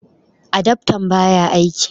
adaftan ba ya aiki